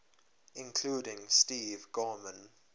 including steve gorman